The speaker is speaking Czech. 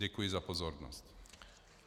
Děkuji za pozornost.